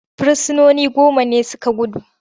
Firsinoni goma ne su ka gudu.